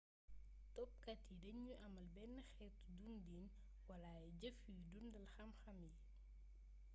topkat yi dañuy amal benn xeetu dundin wala ay jëf yuy dundal xamxam yi